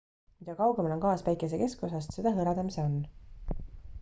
mida kaugemal on gaas päikese keskosast seda hõredam see on